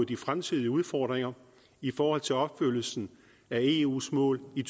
de fremtidige udfordringer i forhold til opfyldelsen af eus mål i